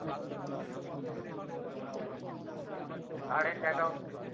current account A